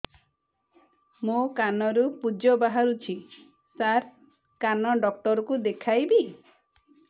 ମୋ କାନରୁ ପୁଜ ବାହାରୁଛି ସାର କାନ ଡକ୍ଟର କୁ ଦେଖାଇବି